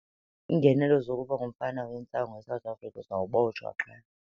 Iingenelo zokuba ngumfama wentsangu eSouth Africa uzawubotshwa qha.